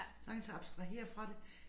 Sagtens abstrahere fra det